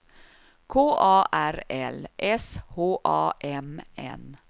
K A R L S H A M N